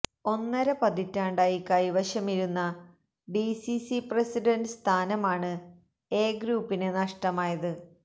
ഒന്നര പതിറ്റാണ്ടായി കൈവശമിരുന്ന ഡിസിസി പ്രസിഡന്റ് സ്ഥാനമാണ് എ ഗ്രൂപ്പിന് നഷ്ടമായത്